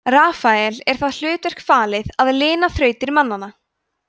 rafael er það hlutverk falið að lina þrautir mannanna